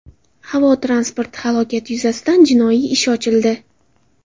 Havo transporti halokati yuzasidan jinoiy ish ochildi.